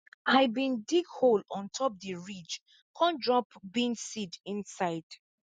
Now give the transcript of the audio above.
i bin dig hole on top di ridge con drop bean seed inside